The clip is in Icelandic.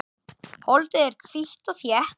Holdið er hvítt og þétt.